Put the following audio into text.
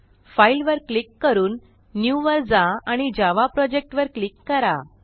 file वर click करून new वर जा आणि जावा प्रोजेक्ट वर क्लिक करा